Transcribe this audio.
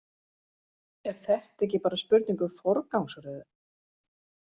Er þetta ekki bara spurning um forgangsröðun?